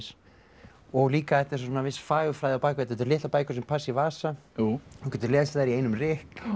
og líka þetta er viss fagurfræði á bak við þetta þetta eru litlar bækur sem passa í vasa þú getur lesið þær í einum rykk